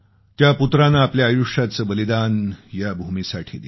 त्या पुत्रानं आपल्या आयुष्याचं बलिदान या भूमीसाठी दिलं